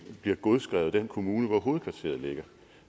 bliver godskrevet af den kommune hvor hovedkvarteret ligger